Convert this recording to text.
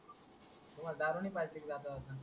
तुम्हाला दारू नाय पाजली का जाता जाता